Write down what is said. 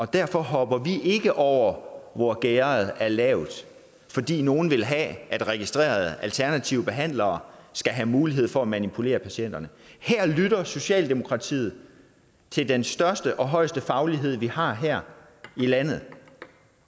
derfor hopper vi ikke over hvor gærdet er lavt fordi nogle vil have at registrerede alternative behandlere skal have mulighed for at manipulere patienterne her lytter socialdemokratiet til den største og højeste faglighed vi har her i landet